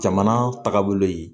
Jamana tagabolo ye